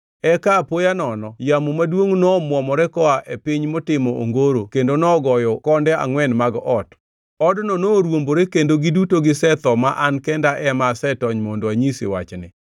eka apoya nono yamo maduongʼ nomwomore koa e piny motimo ongoro kendo nogoyo konde angʼwen mag ot. Odno norwombore kendo giduto gisetho ma an kenda ema asetony mondo anyisi wachni!”